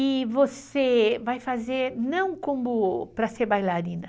E você vai fazer não como para ser bailarina.